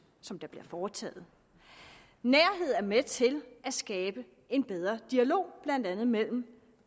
som bliver foretaget nærhed er med til at skabe en bedre dialog blandt andet mellem